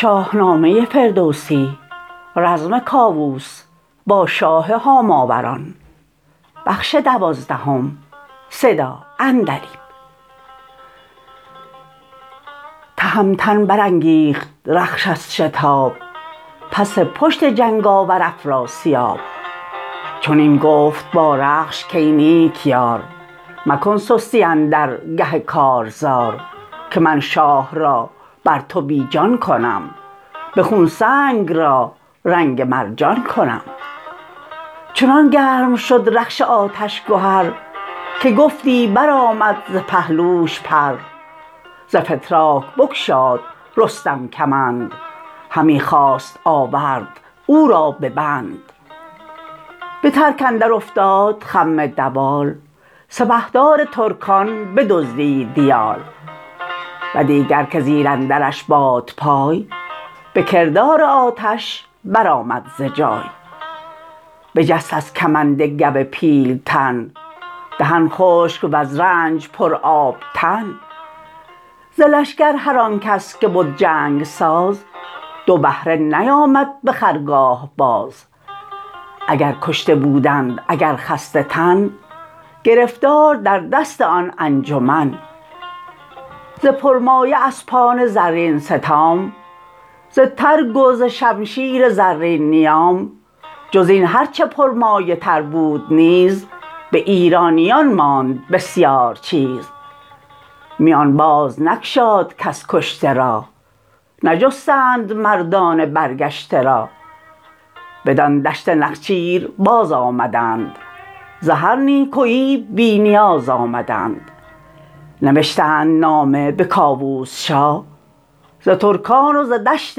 تهمتن برانگیخت رخش از شتاب پس پشت جنگ آور افراسیاب چنین گفت با رخش کای نیک یار مکن سستی اندر گه کارزار که من شاه را بر تو بی جان کنم به خون سنگ را رنگ مرجان کنم چنان گرم شد رخش آتش گهر که گفتی برآمد ز پهلوش پر ز فتراک بگشاد رستم کمند همی خواست آورد او را ببند به ترک اندر افتاد خم دوال سپهدار ترکان بدزدید یال و دیگر که زیر اندرش بادپای به کردار آتش برآمد ز جای بجست از کمند گو پیلتن دهن خشک وز رنج پر آب تن ز لشکر هرانکس که بد جنگ ساز دو بهره نیامد به خرگاه باز اگر کشته بودند اگر خسته تن گرفتار در دست آن انجمن ز پرمایه اسپان زرین ستام ز ترگ و ز شمشیر زرین نیام جزین هرچه پرمایه تر بود نیز به ایرانیان ماند بسیار چیز میان بازنگشاد کس کشته را نجستند مردان برگشته را بدان دشت نخچیر باز آمدند ز هر نیکویی بی نیاز آمدند نوشتند نامه به کاووس شاه ز ترکان وز دشت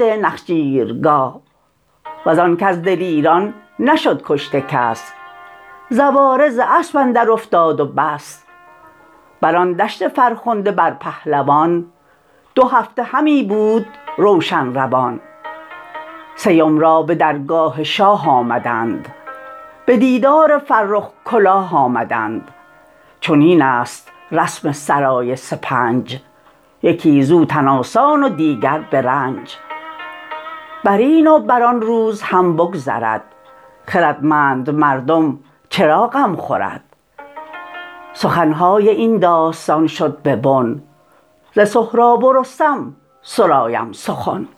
نخچیرگاه وزان کز دلیران نشد کشته کس زواره ز اسپ اندر افتاد و بس بران دشت فرخنده بر پهلوان دو هفته همی بود روشن روان سیم را به درگاه شاه آمدند به دیدار فرخ کلاه آمدند چنین است رسم سرای سپنج یکی زو تن آسان و دیگر به رنج برین و بران روز هم بگذرد خردمند مردم چرا غم خورد سخنهای این داستان شد به بن ز سهراب و رستم سرایم سخن